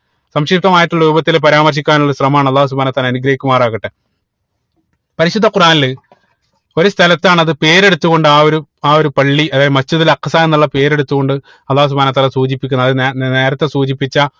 സംശുപ്തമായിട്ടുള്ള രൂപത്തിൽ പരാമർശിക്കാനുള്ള ശ്രമം ആണ് അള്ളാഹു സുബ്ഹാനഉ വതല അനുഗ്രഹിക്കുമാറാകട്ടെ പരിശുദ്ധ ഖുറാനിൽ ഒരു സ്ഥലത്താണ് അത് പേരെടുത്തുകൊണ്ട് ആ ഒരു ആ ഒരു പള്ളി അതായത് Masjid ഉൽ അക്സ എന്നുള്ള പേരെടുത്തു കൊണ്ട് അള്ളാഹു സുബ്‌ഹാനഉ വതാല സൂചിപ്പിക്കുന്നത് അത് നേ നേരത്തെ സൂചിപ്പിച്ച